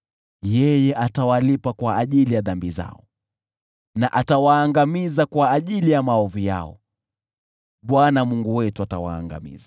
Yeye atawalipa kwa ajili ya dhambi zao na atawaangamiza kwa ajili ya maovu yao; Bwana Mungu wetu atawaangamiza.